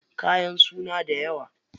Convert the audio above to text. Kayan suna dayawa.